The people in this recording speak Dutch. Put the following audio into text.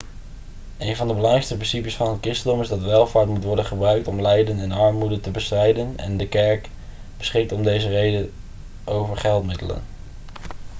een van de belangrijkste principes van het christendom is dat welvaart moet worden gebruikt om lijden en armoede te bestrijden en de kerk beschikt om deze reden over geldmiddelen